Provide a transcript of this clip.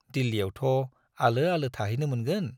दिल्लीयावथ' आलो आलो थाहैनो मोनगोन।